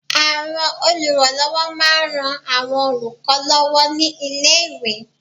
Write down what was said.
Àwọn olùrànlọwọ ma n ran àwọn olùkọ lọwọ ni ilé iwe